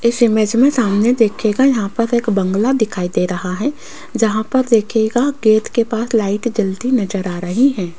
इस इमेज में सामने देखिएगा यहां पर एक बंगला दिखाई दे रहा है जहां पर देखिएगा गेट के पास लाइट जलती नजर आ रही है।